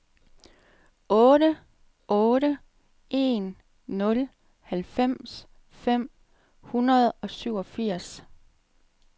otte otte en nul halvfems fem hundrede og syvogfirs